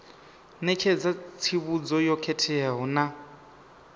ṋetshedza tsivhudzo yo khetheaho na